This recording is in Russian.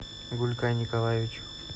гулькай николаевич